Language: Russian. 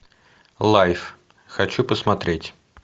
лайф хочу посмотреть